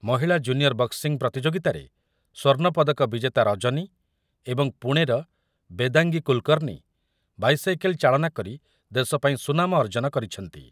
ମହିଳା ଜୁନିୟର ବଣ୍ଟିଂ ପ୍ରତିଯୋଗିତାରେ ସ୍ୱର୍ଣ୍ଣପଦକ ବିଜେତା ରଜନୀ ଏବଂ ପୁଣେର ବେଦାଙ୍ଗୀ କୁଲ୍‌କର୍ମୀ ବାଇସାଇକେଲ୍ ଚାଳନା କରି ଦେଶ ପାଇଁ ସୁନାମ ଅର୍ଜନ କରିଛନ୍ତି ।